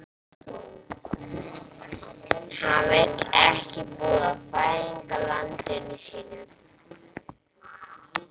Hann vildi ekki búa í fæðingarlandi sínu.